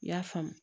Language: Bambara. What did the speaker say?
I y'a faamu